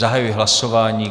Zahajuji hlasování.